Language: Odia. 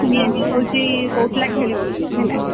ସିଏ ବି ହଉଛି କହୁଥିଲା ଖେଳିବ ବୋଲି ହେଲା।